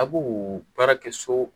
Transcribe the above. A b'o baarakɛ so